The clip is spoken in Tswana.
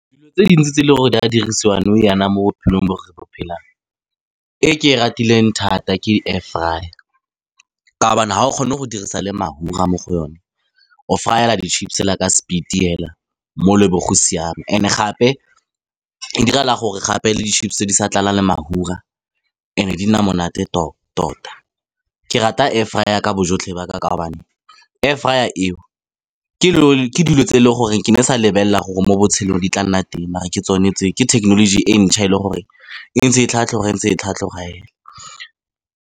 Dilo tse dintsi tse e leng gore di a dirisiwang nou jaana mo bophelong bo re bo phelang, e ke e ratileng thata ke air fryer ka kaobana ha o kgone go dirisa le mafura mo go yone. O fryer di-chips he la ka speed-e fela mole bo go siama and gape go diragala gape le di-chips tse di sa tlala le mafura e ne di nna monate tota. Ke rata air fryer ka bojotlhe ba ka ka kaobane air fryer eo ke dilo tse e leng gore ke ne e sa lebelela gore mo botshelong di tla nna teng mara ke tsone tse ke technology e ntšha e le gore e ntse e tlhatlhoga entse e tlhatlhoga .